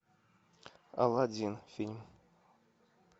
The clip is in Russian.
аладдин фильм